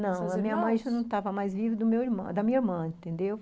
Não, a minha mãe já não estava mais viva, do meu irmão, da minha irmã, entendeu?